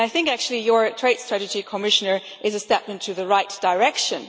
I think actually your trade strategy, Commissioner, is a step in the right direction.